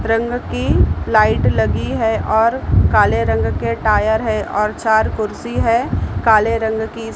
रंग की लाइट लगी है और काले रंग के टायर है और चार कुर्सी है काले रंग की--